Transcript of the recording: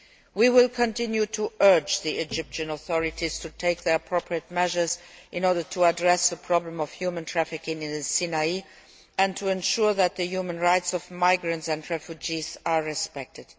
We will continue to urge the Egyptian authorities to take the appropriate measures in order to address the problem of human trafficking in the Sinai and to ensure that the human rights of migrants and refugees are respected.